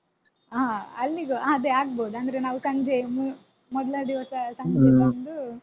ಹ ಅಲ್ಲಿಗೂ ಹಾ ಅದೇ ಆಗ್ಬೋದು ಅಂದ್ರೆ ನಾವು ಸಂಜೆ ಮೂ ಮೊದ್ಲನೇ ದಿವಸ ಸಂಜೆ ಬಂದು.